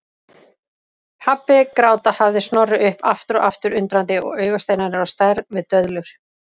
Pabbi gráta hafði Snorri upp aftur og aftur undrandi og augasteinarnir á stærð við döðlur.